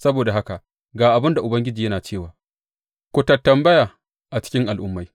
Saboda haka ga abin da Ubangiji yana cewa, Ku tattambaya a cikin al’ummai.